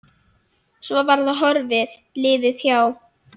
Svo var það horfið, liðið hjá.